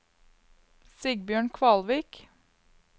Sigbjørn Kvalvik